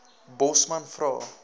bosman vra